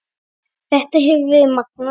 Þetta hefur verið magnað.